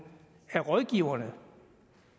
af rådgiverne